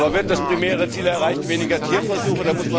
Aber wird das primäre Ziel erreicht weniger Tierversuche?